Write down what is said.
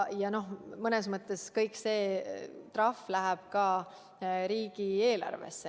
Ja mõnes mõttes kogu see trahviraha läheb ka riigieelarvesse.